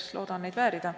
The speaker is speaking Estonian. Eks loodan neid väärida.